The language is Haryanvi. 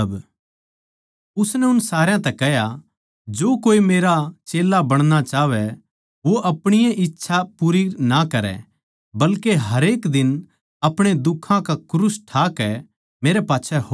उसनै सारया तै कह्या जो कोई मेरै मेरा चेल्ला बणना चाहवै वो अपणी ए इच्छा पूरी ना करै बल्के हरेक दिन अपणे दुखां का क्रूस ठाकै मेरै पाच्छै हो लेवै